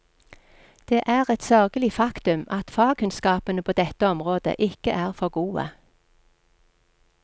Det er et sørgelig faktum at fagkunnskapene på dette området ikke er for gode.